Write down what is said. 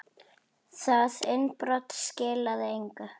Það innbrot skilaði engu.